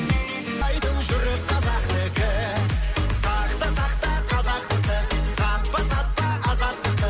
жүрек қазақтікі сақта сақта қазақтықты сатпа сатпа азаттықты